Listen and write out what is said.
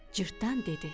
Cırtdan dedi.